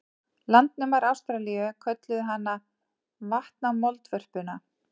Landnemar Ástralíu kölluðu hana vatnamoldvörpuna.